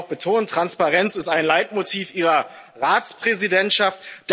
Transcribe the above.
Das haben Sie auch betont Transparenz ist ein Leitmotiv Ihrer Ratspräsidentschaft.